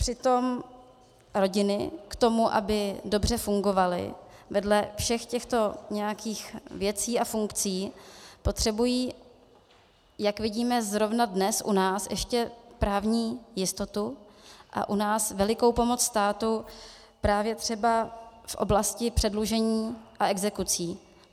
Přitom rodiny k tomu, aby dobře fungovaly, vedle všech těchto nějakých věcí a funkcí potřebují, jak vidíme zrovna dnes u nás, ještě právní jistotu a u nás velikou pomoc státu právě třeba z oblasti předlužení a exekucí.